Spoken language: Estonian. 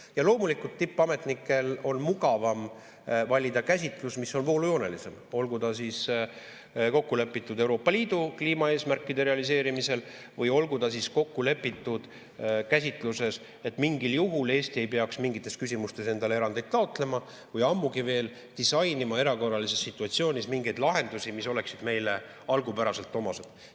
Ja loomulikult, tippametnikel on mugavam valida käsitlus, mis on voolujoonelisem, olgu ta siis kokku lepitud Euroopa Liidu kliimaeesmärkide realiseerimiseks või olgu ta siis kokku lepitud käsitluses, et mingil juhul Eesti ei peaks mingites küsimustes endale erandeid taotlema või ammugi veel disainima erakorralises situatsioonis lahendusi, mis oleksid meile algupäraselt omased.